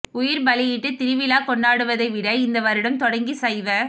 உயிர்பலியிட்டு திருவிழா கொண்டாடுவதை விட இந்த வருடம் தொடங்கி சைவ